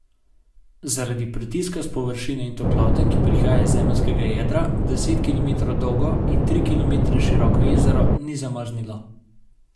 Zaradi pritiska s površine in toplote, ki prihaja iz zemeljskega jedra, deset kilometrov dolgo in tri kilometre široko jezero ni zmrznilo.